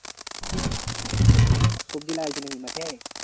সবজি লাগাইছি নাকি মাঠে?